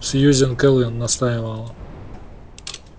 сьюзен кэлвин настаивала